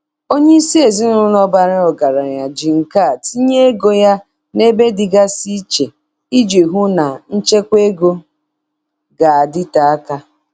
Onye isi ezinụlọ bara ọgaranya ji nkà tinye ego ya n'ebe dịgasị iche iji hụ na nchekwa ego ga-adịte aka.